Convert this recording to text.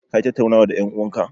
Ka yi tattaunawan da en'uwan ka?